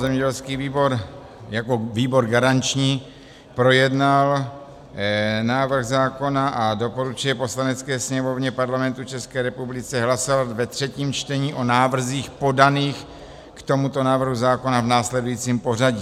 Zemědělský výbor jako výbor garanční projednal návrh zákona a doporučuje Poslanecké sněmovně Parlamentu České republiky hlasovat ve třetím čtení o návrzích podaných k tomuto návrhu zákona v následujícím pořadí.